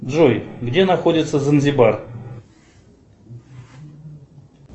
джой где находится занзибар